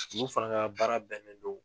Olu fana ka baara bɛnnen do